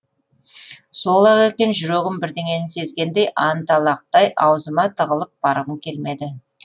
сол ақ екен жүрегім бірдеңені сезгендей анталақтай аузыма тығылып барғым келмеді